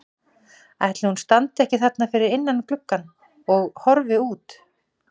Ætli hún standi ekki þarna fyrir innan gluggann og horfi út?